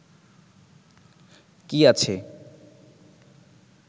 কি আছে